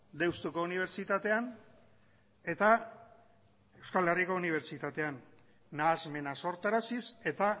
deustuko unibertsitatean eta euskal herriko unibertsitatean nahasmena sortaraziz eta